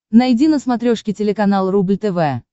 найди на смотрешке телеканал рубль тв